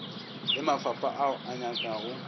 le mafapha ao a nyakago